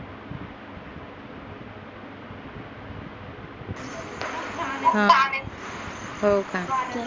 हो का